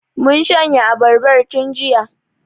Mun shanye abarbar tun jiya.